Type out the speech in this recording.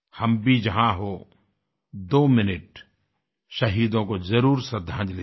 हम भी जहाँ हों दो मिनट शहीदों को जरुर श्रद्धांजलि दें